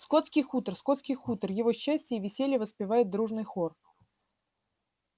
скотский хутор скотский хутор его счастье и веселье воспевает дружный хор